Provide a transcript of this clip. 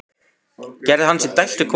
Gerði hann sér dælt við konur?